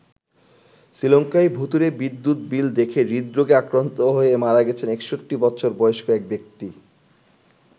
শ্রীলঙ্কায় ভূতুড়ে বিদ্যুৎ বিল দেখে হৃদরোগে আক্রান্ত হয়ে মারা গেছেন ৬১ বছর বয়স্ক এক ব্যক্তি।